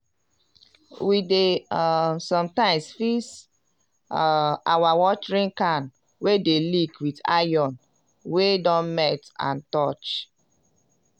we dey um sometimes fix um our watering can wey d leek with iron wey don melt and torch.